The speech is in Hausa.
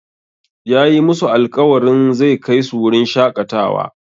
Yayi masu alƙawarin zai kai su wurin shaƙatawa.